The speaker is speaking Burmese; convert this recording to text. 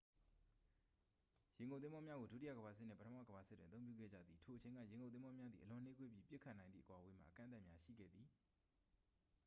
ရေငုပ်သင်္ဘောများကို ဒုတိယကမ္ဘာစစ်နှင့် ပထမကမ္ဘာစစ်တွင် အသုံးပြုခဲ့ကြသည် ထိုအချိန်က ရေငုပ်သင်္ဘောများသည် အလွန်နှေးကွေးပြီး ပစ်ခတ်နိုင်သည့် အကွာအဝေးမှာ အကန့်အသတ်များရှိခဲ့သည်